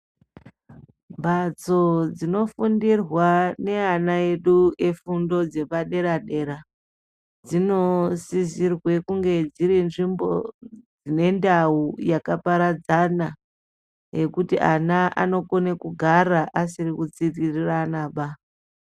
Mhatso dzinofundirwa neana edu efundo dzepadera dera, dzinosisirwe kunge dziri nzvimbo dzinendau yakaparadzana yekuti ana anokone kuparadzana asiri kutsikiriranaba.